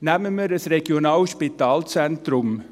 Nehmen wir ein Regionalspitalzentrum.